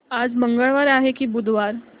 आज मंगळवार आहे की बुधवार